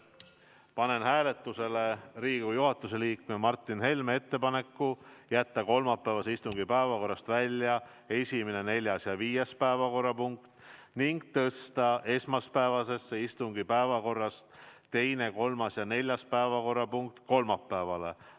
Panen hääletusele Riigikogu juhatuse liikme Martin Helme ettepaneku jätta kolmapäevase istungi päevakorrast välja esimene, neljas ja viies päevakorrapunkt ning tõsta esmaspäevase istungi päevakorrast teine, kolmas ja neljas päevakorrapunkt kolmapäevale.